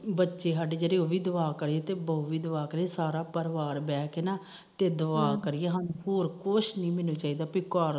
ਬੱਚੇ ਸਾਡੇ ਉਹ ਵੀ ਦੁਆ ਕਰੇ ਸਾਰਾ ਪਰਿਵਾਰ ਬਹਿ ਕੇ ਨਾ ਦੁਆ ਕਰੀਏ ਹੋਰ ਕੁਛ ਨੀ ਮੈਨੂੁੰ ਚਾਹੀਦਾ